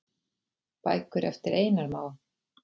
Bækur eftir Einar Má.